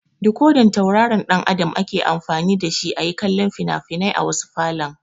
Dikodan tauraron ɗan Adam ake amfani da shi a yi kallo fina-finai a wasu falon.